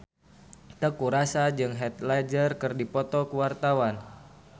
Teuku Rassya jeung Heath Ledger keur dipoto ku wartawan